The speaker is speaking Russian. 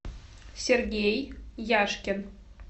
сергей яшкин